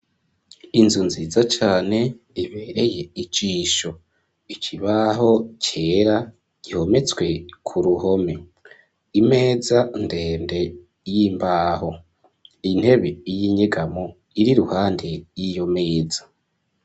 Inzu nziza cane ibereye icisho ic ibaho cera gihometswe ku ruhome imeza ndende y'imbaho intebe y'inyegamo iri ruhande y'iyo meza.